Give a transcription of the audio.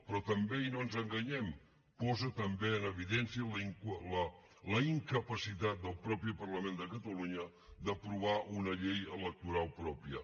però també i no ens enganyem posa també en evidència la incapacitat del mateix parlament de catalunya d’aprovar una llei electoral pròpia